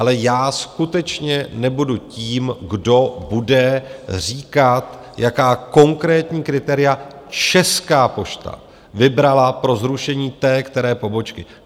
Ale já skutečně nebudu tím, kdo bude říkat, jaká konkrétní kritéria Česká pošta vybrala pro zrušení té které pobočky.